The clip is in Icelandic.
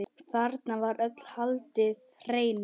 Þarna var öllu haldið hreinu.